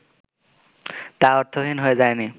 তা অর্থহীন হয়ে যায়নি